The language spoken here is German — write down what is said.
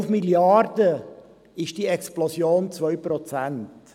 Bei 5 Mrd. Franken beträgt diese Explosion 2 Prozent.